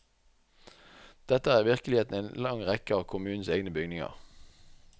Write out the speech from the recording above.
Dette er virkeligheten i en lang rekke av kommunens egne bygninger.